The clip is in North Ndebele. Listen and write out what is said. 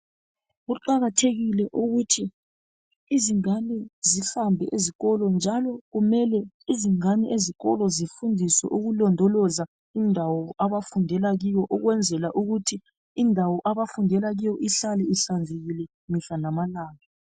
Kuqakathekile ukuthi izingane zihambe esikolo, njalo kumele izingane ezikolo zifundiswe ukulondoloza indawo abafundela kiyo ukize ihlale ihlanzekile mihla lamalanga.